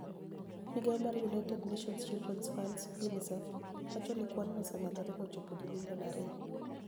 Migao mar Uniited niationis Childreni's Funid (UniICEF) wacho nii kwanino osemedore mochopo ji milioni ariyo.